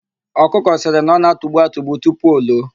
Ọkụkọ sịrị na ọ na-atugbu atugbu tupu o loo.